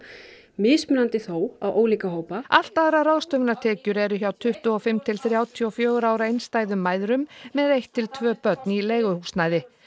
mismunandi þó á ólíka hópa allt aðrar ráðstöfunartekjur eru hjá tuttugu og fimm til þrjátíu og fjögurra ára einstæðum mæðrum með eitt til tvö börn í leiguhúsnæði